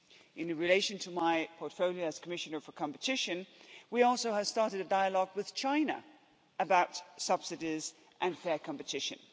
In relation to my portfolio as Commissioner for Competition, we also have started a dialogue with China about subsidies and fair competition.